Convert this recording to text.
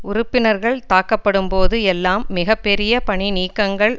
உறுப்பினர்கள் தாக்கப்படும்போது எல்லாம் மிக பெரிய பணிநீக்கங்கள்